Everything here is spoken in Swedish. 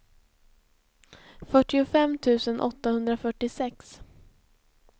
fyrtiofem tusen åttahundrafyrtiosex